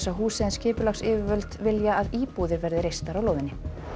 húsið en skipulagsyfirvöld vilja að íbúðir verði reistar á lóðinni